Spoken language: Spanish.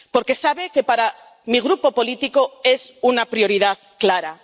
Porque sabe que, para mi grupo político, es una prioridad clara.